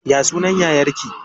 Ya sunan yayar ki?